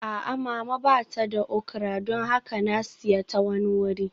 A'a, Mama ba ta da okra don haka na siya ta wani wuri